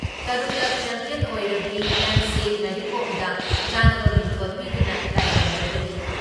ꯇꯔꯨꯛ ꯂꯛ ꯆꯦꯄꯤꯌꯟ ꯑꯣꯏꯔꯕꯤ ꯑꯦꯝ.ꯁꯤ. ꯃꯦꯔꯤ ꯀꯣꯝꯗ ꯆꯥꯟꯅꯕ ꯃꯤꯡꯊꯣꯜ ꯄꯤꯗꯨꯅ ꯏꯀꯥꯏꯈꯨꯝꯅꯔꯒꯅꯤ ꯫